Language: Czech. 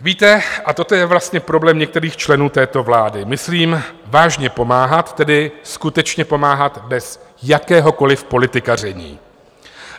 Víte, a toto je vlastně problém některých členů této vlády - myslím vážně pomáhat, tedy skutečně pomáhat, bez jakéhokoliv politikaření.